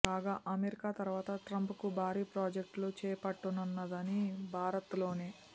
కాగా అమెరికా తర్వాత ట్రంప్ కు భారీ ప్రాజెక్టులు చేపట్టనున్నది భారత్ లోనే